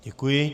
Děkuji.